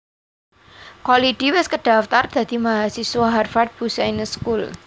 Kholidi wis kedhaftar dadi mahasiswa Harvard Business School